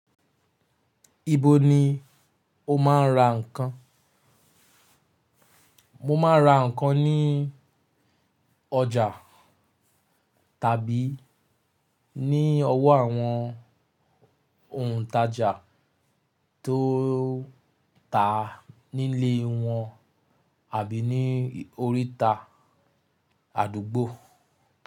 Ibo ni o máa ń ra nǹkan? Mo máa ra nǹkan ní ọjà tàbí ní ọwọ́ àwọn òǹtajà tó tàá nílé wọn àbí ní oríta àdúgbò.